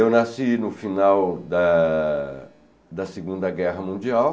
Eu nasci no final da da Segunda Guerra Mundial,